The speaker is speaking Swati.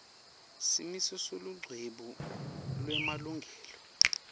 simiso selucwebu lwemalungelo